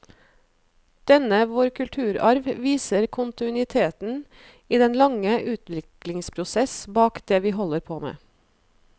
Denne vår kulturarv viser kontinuiteten i den lange utviklingsprosess bak det vi holder på med.